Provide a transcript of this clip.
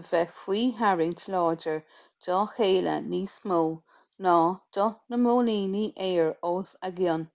a bheith faoi tharraingt láidir dá chéile níos mó ná do na móilíní aeir os a gcionn